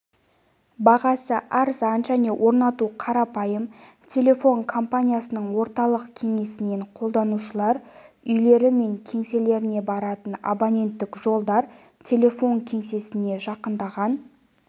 бағасы арзан және орнатуы қарапайым телефон компаниясының орталық кеңсесінен қолданушылар үйлері мен кеңселеріне баратын абоненттік жолдар телефон кеңсесіне жақындаған